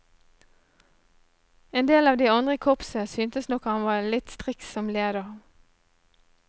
En del av de andre i korpset syntes nok at han var litt striks som leder.